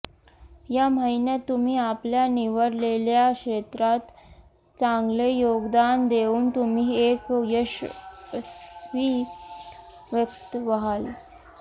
या महिन्यात तुम्ही आपल्या निवडलेल्या क्षेत्रात चांगले योगदान देऊन तुम्ही एक यशस्वी व्यक्ती व्हाल